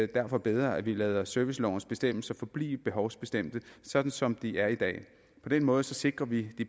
derfor bedre at vi lader servicelovens bestemmelser forblive behovsbestemte sådan som de er i dag på den måde sikrer vi det